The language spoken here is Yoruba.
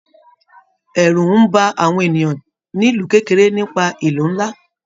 Ẹrú n bá àwọn ènìyàn nílu kekere nípa ìlú nlá.